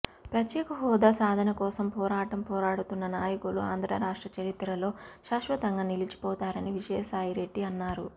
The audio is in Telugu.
ప్రత్యేక హోదా సాధన కోసం పోరాటం పోరాడుతున్న నాయకులు ఆంధ్రరాష్ట్ర చరిత్రలో శాశ్వతంగా నిలిచిపోతారని విజయసాయిరెడ్డి అన్నారు